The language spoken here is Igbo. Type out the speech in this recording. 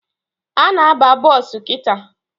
Ana aba bọsụ kịta